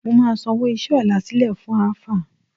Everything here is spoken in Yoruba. Mo máa sanwó iṣẹ́ ọ̀la sílẹ̀ fún Àáfáà